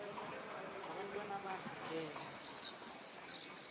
nabantwana bakho geza